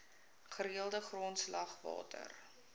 gereelde grondslag water